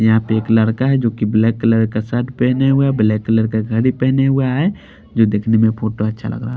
यहाँ पे एक लड़का है जोकि ब्लैक कलर का शर्ट पहने हुए है ब्लैक कलर का घड़ी पहने हुए है जो दिखने में फोटो अच्छा लग रहा है।